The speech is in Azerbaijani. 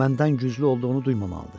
Məndən güclü olduğunu duymamalıdır.